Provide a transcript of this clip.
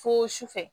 Fo su fɛ